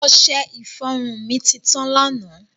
Ọṣẹ-ifọrun mi ti tan lánà.